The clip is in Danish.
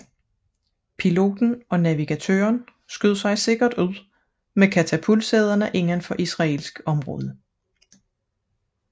Piloten og navigatøren skød sig sikkert ud med katapultsæderne indenfor israelsk område